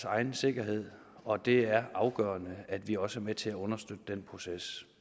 egen sikkerhed og det er afgørende at vi også er med til at understøtte den proces